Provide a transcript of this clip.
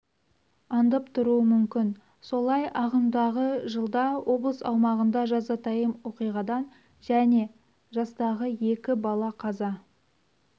аңдып тұру мүмкін солай ағымдағы жылда облыс аумағында жазатайым оқиғадан және жастағы екі бала қаза